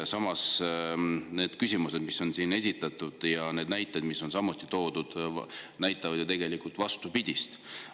Samas need küsimused, mis on siin esitatud, ja need näited, mis on samuti toodud, näitavad ju tegelikult vastupidist.